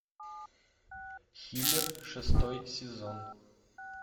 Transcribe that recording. хилер шестой сезон